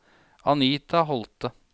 Anita Holthe